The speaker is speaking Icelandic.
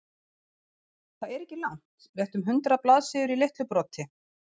Það er ekki langt, rétt um hundrað blaðsíður í litlu broti.